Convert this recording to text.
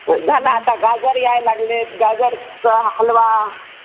झालं आता गाजर यायला लागलेत, गाजराचा हलवा